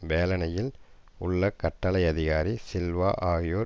வேலனையில் உள்ள கட்டளை அதிகாரி சில்வா ஆகியோர்